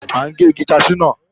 À ń gé igi kaṣú náà